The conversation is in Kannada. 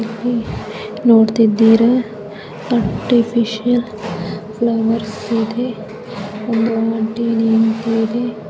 ಇಲ್ಲಿ ನೋಡ್ತಿದ್ದೀರಾ ಆರ್ಟಿಫಿಷಿಯಲ್ ಫ್ಲವರ್ಸ್ ಇದೆ ಒಂದು ಆಂಟಿ ನಿಂತಿದೆ.